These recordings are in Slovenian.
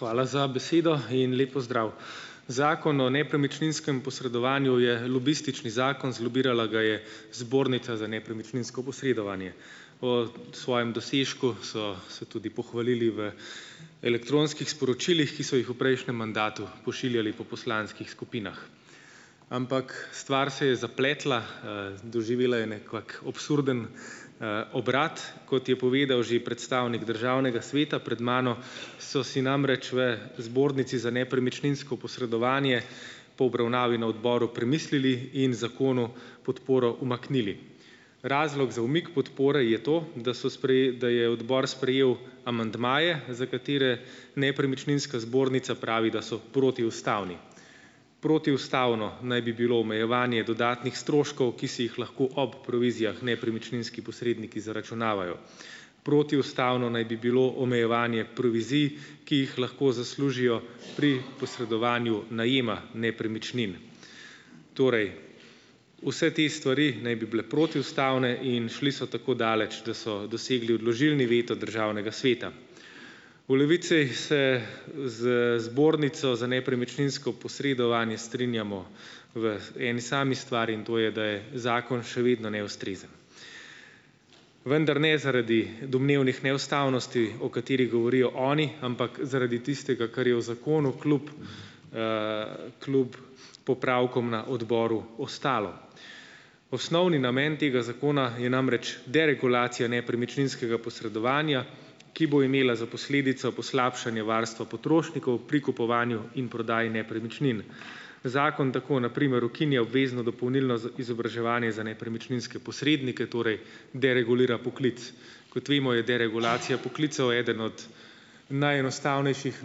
Hvala za besedo in lep pozdrav! Zakon o nepremičninskem posredovanju je lobistični zakon, zlobirala ga je Zbornica za nepremičninsko posredovanje; o svojem dosežku so se tudi pohvalili v elektronskih sporočilih, ki so jih v prejšnjem mandatu pošiljali po poslanskih skupinah. Ampak stvar se je zapletla, doživela je nekak absurden, obrat, kot je povedal že predstavnik državnega sveta pred mano, so si namreč v Zbornici za nepremičninsko posredovanje po obravnavi na odboru premislili in zakonu podporo umaknili. Razlok za umik podpore je to, da so da je odbor sprejel amandmaje, za katere nepremičninska zbornica pravi, da so protiustavni. Protiustavno naj bi bilo omejevanje dodatnih stroškov, ki si jih lahko ob provizijah nepremičninski posredniki zaračunavajo. Protiustavno naj bi bilo omejevanje provizij, ki jih lahko zaslužijo pri posredovanju najema nepremičnin. Torej, vse te stvari naj bi bile protiustavne in šli so tako daleč, da so dosegli odložilni veto državnega sveta. V Levici se z Zbornico za nepremičninsko posredovanje strinjamo v eni sami stvari, in to je, da je zakon še vedno neustrezen. Vendar ne zaradi domnevnih neustavnosti, o katerih govorijo oni, ampak zaradi tistega, kar je v zakonu kljub, kljub popravkom na odboru ostalo. Osnovni namen tega zakona je namreč deregulacija nepremičninskega posredovanja, ki bo imela za posledico poslabšanje varstva potrošnikov pri kupovanju in prodaji nepremičnin. Zakon tako, na primer, ukinja obvezno dopolnilno izobraževanje za nepremičninske posrednike, torej deregulira poklic. Kot vemo, je deregulacija poklicev eden od najenostavnejših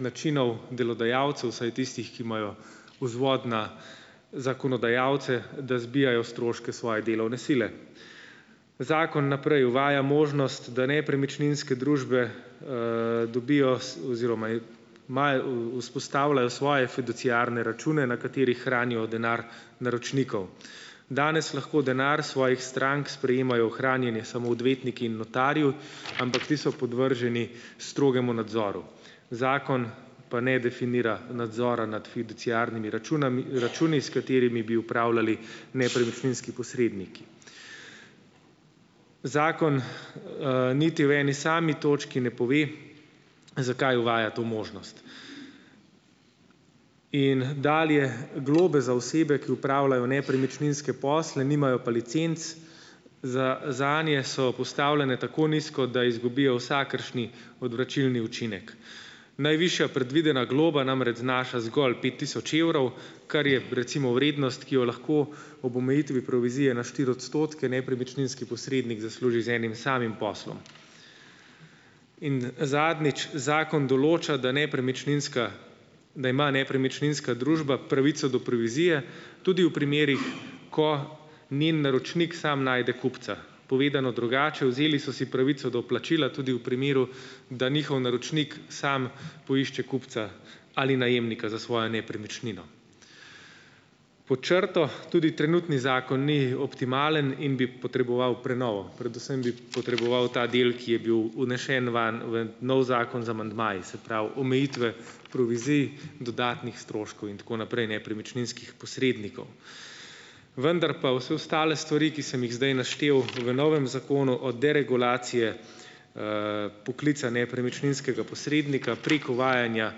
načinov delodajalcev, vsaj tistih, ki imajo vzvod na zakonodajalce, da zbijajo stroške svoje delovne sile. Zakon naprej uvaja možnost, da nepremičninske družbe, dobijo oziroma imajo, vzpostavljajo svoje fiduciarne račune, na katerih hranijo denar naročnikov. Danes lahko denar svojih strank sprejemajo v hranjenje samo odvetniki in notarji, ampak ti so podvrženi strogemu nadzoru. Zakon pa ne definira nadzora nad fiduciarnimi računami računi, s katerimi bi upravljali nepremičninski posredniki. Zakon, niti v eni sami točki ne pove, zakaj uvaja to možnost. In dalje, globe za osebe, ki opravljajo nepremičninske posle, nimajo pa licenc zanje, so postavljene tako nizko, da izgubijo vsakršni odvračilni učinek. Najvišja predvidena globa namreč znaša zgolj pet tisoč evrov, kar je, recimo, vrednost, ki jo lahko ob omejitvi provizije na štiri odstotke nepremičninski posrednik zasluži z enim samim poslom. In zadnjič, zakon določa, da nepremičninska da ima nepremičninska družba pravico do provizije tudi v primerih, ko njen naročnik samo najde kupca. Povedano drugače, vzeli so si pravico do plačila tudi v primeru, da njihov naročnik samo poišče kupca ali najemnika za svojo nepremičnino. Pod črto, tudi trenutni zakon ni optimalen in bi potreboval prenovo, predvsem bi potreboval ta del, ki je bil vnesen vam, v novi zakon z amandmaji, se pravi, omejitve provizij, dodatnih stroškov in tako naprej nepremičninskih posrednikov. Vendar pa vse ostale stvari, ki sem jih zdaj naštel, v novem zakonu - od deregulacije, poklica nepremičninskega posrednika, prek uvajanja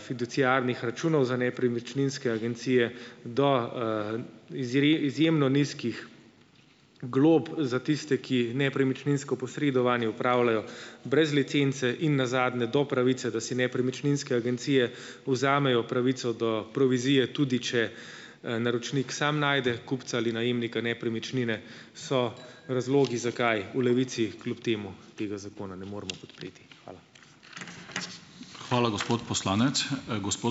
fiduciarnih računov za nepremičninske agencije do, izjemno nizkih glob za tiste, ki nepremičninsko posredovanje opravljajo brez licence, in nazadnje do pravice, da si nepremičninske agencije vzamejo pravico do provizije, tudi če, naročnik samo najde kupca ali najemnika nepremičnine - so razlogi, zakaj v Levici kljub temu tega zakona ne moremo podpreti. Hvala.